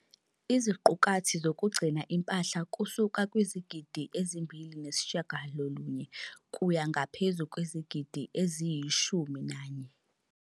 .iziqukathi zokugcina impahla kusuka kwizigidi ezi-2.9 kuya ngaphezu kwezigidi eziyi-11.